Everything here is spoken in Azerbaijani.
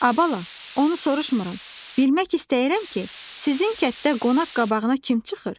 A bala, onu soruşmuram, bilmək istəyirəm ki, sizin kətdə qonaq qabağına kim çıxır?